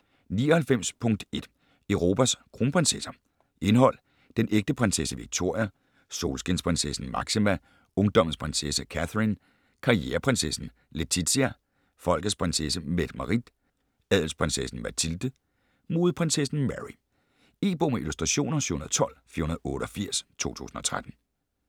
99.1 Europas kronprinsesser Indhold: Den ægte prinsesse Victoria, Solskinsprinsessen Máxima, Ungdommens prinsesse Catherine, Karriereprinsessen Letizia, Folkets prinsesse Mette-Marit, Adelsprinsessen Mathilde, Modeprinsessen Mary. E-bog med illustrationer 712488 2013.